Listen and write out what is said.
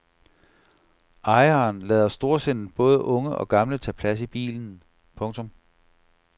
Ejeren lader storsindet både unge og gamle tage plads i bilen. punktum